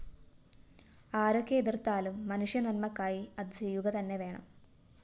ആരൊക്കെ എതിര്‍ത്താലും മനുഷ്യനന്മക്കായി അത് ചെയ്യുക തന്നെ വേണം